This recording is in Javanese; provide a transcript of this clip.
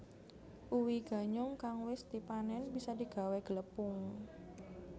Uwi ganyong kang wis dipanén bisa digawé glepung